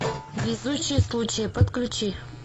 везучий случай подключи